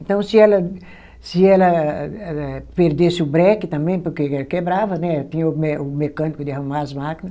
Então, se ela se ela eh, perdesse o breque também, porque quebrava, né, tinha o mé o mecânico de arrumar as máquina